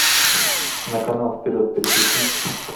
на канал вперед переключи